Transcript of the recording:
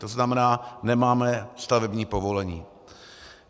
To znamená, nemáme stavební povolení.